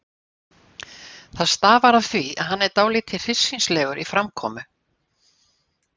Það stafar af því að hann er dálítið hryssingslegur í framkomu.